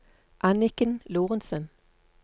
Anniken Lorentsen